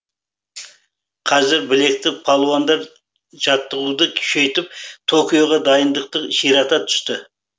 қазір білекті палуандар жаттығуды күшейтіп токиоға дайындықты ширата түсті